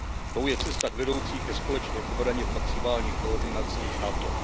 Tou je cesta vedoucí ke společné obraně v maximální koordinaci s NATO.